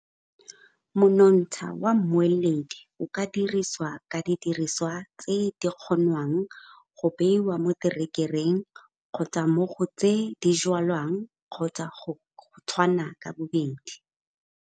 Monontsha wa moeledi o ka dirisiwa ka didiriswa tse di kgonwang go beiwa mo terekereng kgotsa mo go tse di jwalang kgotsa go tshwana ka bobedi.